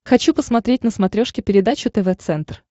хочу посмотреть на смотрешке передачу тв центр